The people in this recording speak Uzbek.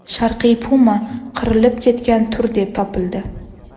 Sharqiy puma qirilib ketgan tur deb topildi.